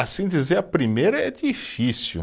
Assim dizer a primeira é difícil.